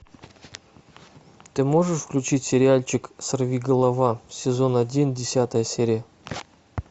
ты можешь включить сериальчик сорвиголова сезон один десятая серия